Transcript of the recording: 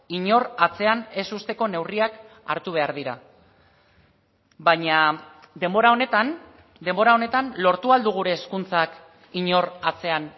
inor atzean ez uzteko neurriak hartu behar dira baina denbora honetan denbora honetan lortu al du gure hezkuntzak inor atzean